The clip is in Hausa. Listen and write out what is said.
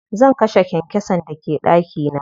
Zan kashe kyankyasan da ke ɗaki na.